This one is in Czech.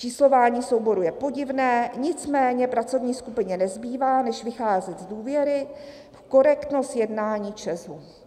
Číslování souborů je podivné, nicméně pracovní skupině nezbývá než vycházet z důvěry v korektnost jednání ČEZ."